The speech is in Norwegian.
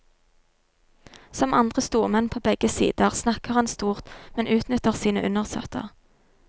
Som andre stormenn på begge sider snakker han stort, men utnytter sin undersåtter.